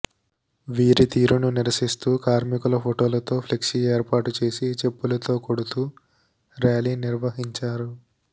వీరి తీరును నిరసిస్తూ కార్మికుల ఫొటోలతో ఫ్లెక్సీ ఏర్పాటు చేసి చెప్పులతో కొడుతూ ర్యాలీ నిర్వహించారు